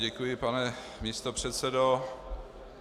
Děkuji, pane místopředsedo.